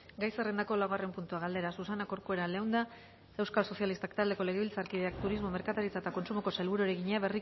gai zerrendako laugarren puntua galdera susana corcuera leunda euskal sozialistak taldeko legebiltzarkideak turismo merkataritza eta kontsumoko sailburuari egina